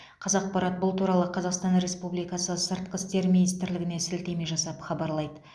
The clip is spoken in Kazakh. қазақпарат бұл туралы қазақстан республикасы сыртқы істер министрлігіне сілтеме жасап хабарлайды